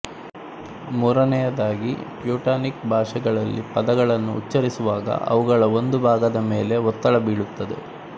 ಮೂರನೆಯದಾಗಿ ಟ್ಯೂಟಾನಿಕ್ ಭಾಷೆಗಳಲ್ಲಿ ಪದಗಳನ್ನು ಉಚ್ಚರಿಸುವಾಗ ಅವುಗಳ ಒಂದು ಭಾಗದ ಮೇಲೆ ಒತ್ತಡ ಬೀಳುತ್ತದೆ